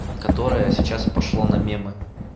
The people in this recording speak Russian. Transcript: которая сейчас пошло на мемы